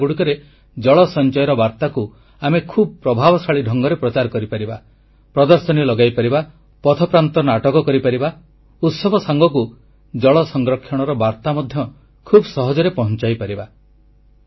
ଏହି ମେଳାଗୁଡ଼ିକରେ ଜଳ ସଞ୍ଚୟର ବାର୍ତ୍ତାକୁ ଆମେ ଖୁବ ପ୍ରଭାବଶାଳୀ ଢଙ୍ଗରେ ପ୍ରଚାର କରିପାରିବା ପ୍ରଦର୍ଶନୀ ଲଗାଇପାରିବା ପଥପ୍ରାନ୍ତ ନାଟକ କରିପାରିବା ଉତ୍ସବ ସାଙ୍ଗକୁ ଜଳ ସଂରକ୍ଷଣର ବାର୍ତ୍ତା ମଧ୍ୟ ଖୁବ ସହଜରେ ପହଞ୍ଚାଇପାରିବା